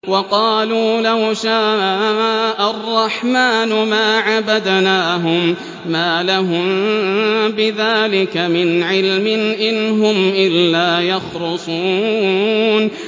وَقَالُوا لَوْ شَاءَ الرَّحْمَٰنُ مَا عَبَدْنَاهُم ۗ مَّا لَهُم بِذَٰلِكَ مِنْ عِلْمٍ ۖ إِنْ هُمْ إِلَّا يَخْرُصُونَ